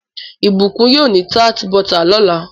Ibukun yóò ní tart bota lọla.